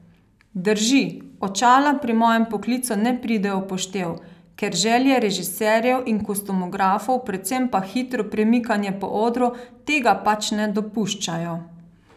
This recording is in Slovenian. Drži, očala pri mojem poklicu ne pridejo v poštev, ker želje režiserjev in kostumografov, predvsem pa hitro premikanje po odru tega pač ne dopuščajo.